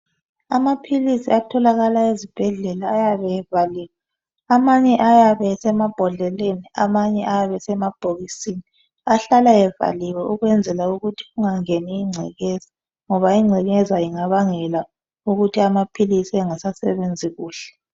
Amaphilisi atholakala eZibhedlela ayabe evaliwe, amanye ayabe esemabhodlelani. Amanye ayabe esemabhokisini ahlala evaliwe ukwenzela ukuthi kungangeni ingcekeza ngoba ingcekeza ingabangela ukuthi amaphilisi engasasebenzi kuhle.